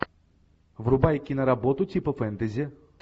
врубай киноработу типа фэнтези